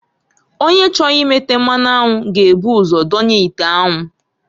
Onye chọrọ imeta mmanụ anwụ g'ebu ụzọ donye ite anwu.